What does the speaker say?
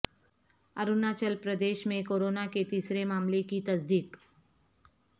اروناچل پردیش میں کورونا کے تیسرے معاملے کی تصدیق